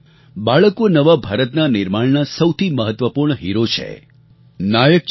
બાળકો નવા ભારતના નિર્માણના સૌથી મહત્ત્વપૂર્ણ હીરો છેનાયક છે